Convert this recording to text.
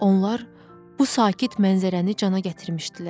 Onlar bu sakit mənzərəni cana gətirmişdilər.